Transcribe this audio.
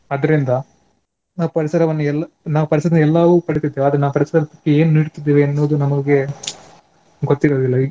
ಆದ್ರಿಂದ ನಾವು ಪರಿಸರವನ್ನು ಎಲ್ಲ ನಾವು ಪರಿಸರದಿಂದ ಎಲ್ಲವೂ ಪಡೆಯುತ್ತಿದ್ದೇವೆ ಆದ್ರೆ ನಾವು ಪರಿಸರಕ್ಕೆ ಏನು ನೀಡ್ತಿದ್ದೇವೆ ಎನ್ನುವುದು ನಮಗೆ ಗೊತ್ತಿರುವುದಿಲ್ಲ.